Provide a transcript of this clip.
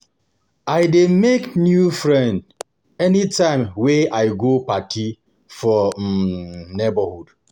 I dey make new friend anytime wey I go party for um neborhood.